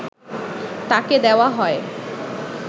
তাঁকে দেওয়া হয়